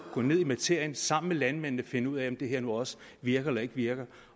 gå ned i materien sammen med landmændene og finde ud af om det her nu også virker eller ikke virker